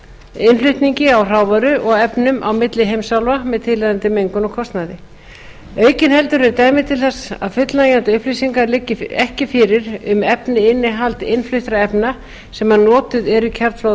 úr flutningi á hrávöru og efnum á milli heimsálfa með tilheyrandi mengun og kostnaði aukinheldur eru dæmi þess að fullnægjandi upplýsingar liggi ekki fyrir um efnainnihald innfluttra efna sem notuð eru í kjarnfóðurblöndur það